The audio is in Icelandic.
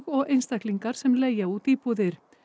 og einstaklingar sem leigja út íbúðir